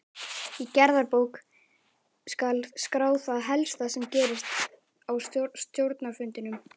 Í gerðabók skal skrá það helsta sem gerist á stjórnarfundum.